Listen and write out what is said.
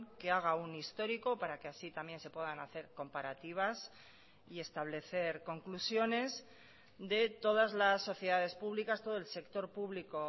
que haga un histórico para que así también se puedan hacer comparativas y establecer conclusiones de todas las sociedades públicas todo el sector público